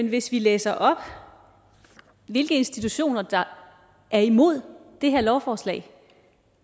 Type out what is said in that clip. at hvis vi læser op hvilke institutioner der er imod det her lovforslag